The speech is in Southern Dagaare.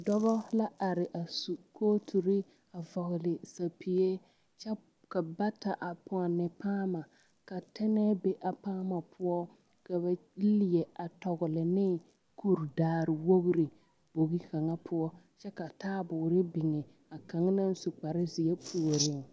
Dobɔ la are su kooturi a vɔgle sapige kyɛ ka bata a pɔnne paama ka tɛnɛɛ be a paama poɔ ka ba leɛ a tɔgle ne kuridaare wogri bogi kaŋa poɔ kyɛ ka taaboore biŋ a kaŋa naŋ su kparezeɛ puoriŋ.